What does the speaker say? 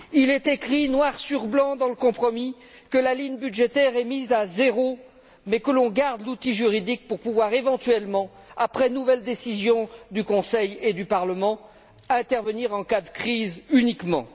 Il est écrit noir sur blanc dans le compromis que la ligne budgétaire est mise à zéro mais que l'on garde l'outil juridique pour pouvoir, éventuellement, après nouvelle décision du Conseil et du Parlement, intervenir en cas de crise uniquement.